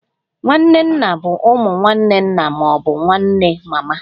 Nwanne nna bụ ụmụ nwanne nna ma ọ bụ nwanne mama